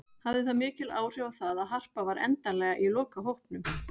Hafði það mikil áhrif á það að Harpa var endanlega í lokahópnum?